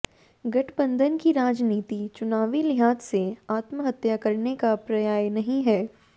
गठबंधन की राजनीति चुनावी लिहाज से आत्महत्या करने का पर्याय नहीं है